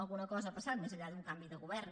alguna cosa ha passat més enllà d’un canvi de govern